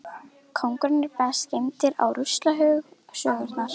Konungar eru best geymdir á ruslahaug sögunnar.